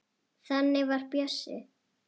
Þannig var Bjössi.